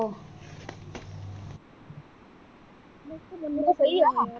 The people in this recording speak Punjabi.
ਬੰਦਾ ਤੇ ਸਹੀ ਹੈ ਗਾ ਉਹੋ ਯਾਰ।